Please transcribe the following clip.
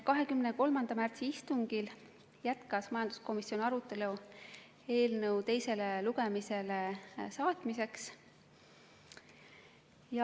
23. märtsi istungil jätkas majanduskomisjon arutelu eelnõu teisele lugemisele saatmiseks.